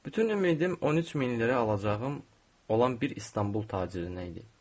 Bütün ümidim 13 min lirə alacağım olan bir İstanbul tacirinə idi.